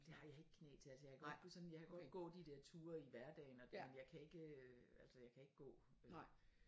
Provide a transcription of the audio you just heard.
Det har jeg ikke knæ til altså jeg kan godt gå sådan jeg kan godt gå de dér ture i hverdagen og det men jeg kan ikke øh altså jeg kan ikke gå